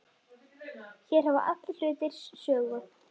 Hér hafa allir hlutir sögu.